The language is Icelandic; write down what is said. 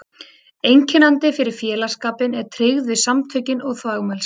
Einkennandi fyrir félagsskapinn er tryggð við samtökin og þagmælska.